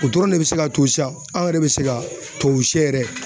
O dɔrɔn de bɛ se ka to sisan aw yɛrɛ bɛ se ka tubabusɛ yɛrɛ